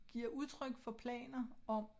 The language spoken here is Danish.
Giver udtryk for planer om